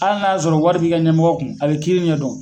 Hali n'a y'a sɔrɔ wari b'i ka ɲɛmɔgɔ kun, a be kiiri ɲɛdɔn